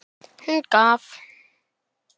Hún gaf.